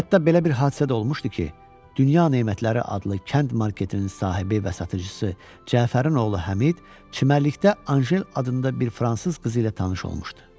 Hətta belə bir hadisə də olmuşdu ki, dünya nemətləri adlı kənd marketinin sahibi və satıcısı Cəfərin oğlu Həmid çimərlikdə Anjel adında bir fransız qızı ilə tanış olmuşdu.